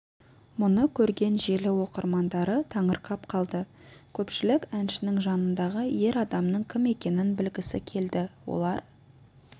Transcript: мұны көрген желі оқырмандары таңырқап қалды көпшілік әншінің жанындағы ер адамның кім екенін білгісі келді олар